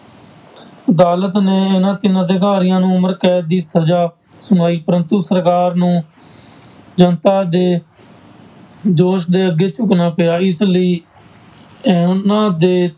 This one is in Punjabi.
ਅਦਾਲਤ ਨੇ ਇਹਨਾਂਂ ਤਿੰਨ ਅਧਿਕਾਰੀਆਂ ਨੂੰ ਉਮਰ ਕੈਦ ਦੀ ਸਜ਼ਾ ਸੁਣਾਈ, ਪ੍ਰੰਤੂ ਸਰਕਾਰ ਨੂੰ ਜਨਤਾ ਦੇ ਜੋਸ਼ ਦੇ ਅੱਗੇ ਝੁੱਕਣਾ ਪਿਆ ਇਸ ਲਈ ਉਹਨਾਂ ਦੇ